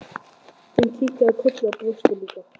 Hún kinkaði kolli og brosti líka.